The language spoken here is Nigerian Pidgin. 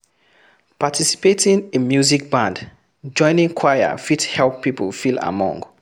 Participating in music band, joining choir fit help pipo feel among